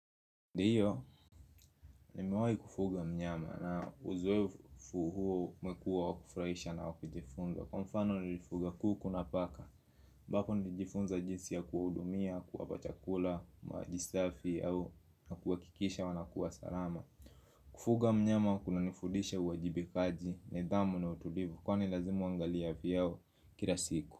Ndiyo, nimewahi kufuga mnyama na uzoefu huo umekuwa wa kufurahisha na wa kujifunza. Kwa mfano nilifuga kuku na paka, ambapo nilijifunza jinsi ya kuwahudumia, kuwapa chakula, maji safi au na kuhakikisha wanakuwa salama. Kufuga mnyama kunanifudisha uwajibikaji, nidhamu na utulivu, kwani lazima uangalie afya yao kila siku.